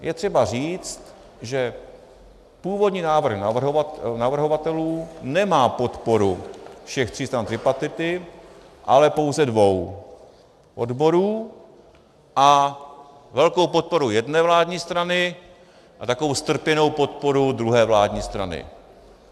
Je třeba říct, že původní návrh navrhovatelů nemá podporu všech tří stran tripartity, ale pouze dvou - odborů a velkou podporu jedné vládní strany a takovou strpěnou podporu druhé vládní strany.